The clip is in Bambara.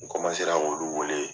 N ra k'olu wele.